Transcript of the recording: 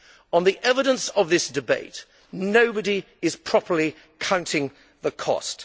On the evidence of this debate, nobody is properly counting the cost.